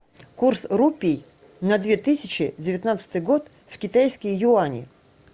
курс рупий на две тысячи девятнадцатый год в китайские юани